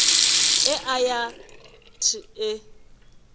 e a ya th e